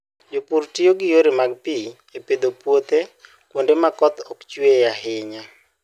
Jopur tiyo gi yore mag pi e pidho puothe kuonde ma koth ok chue ahinya.